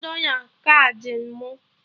Nye m dọla kaadị mụ!